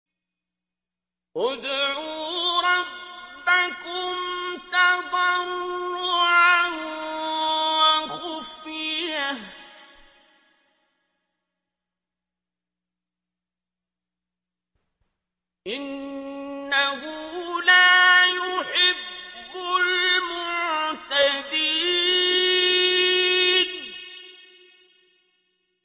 ادْعُوا رَبَّكُمْ تَضَرُّعًا وَخُفْيَةً ۚ إِنَّهُ لَا يُحِبُّ الْمُعْتَدِينَ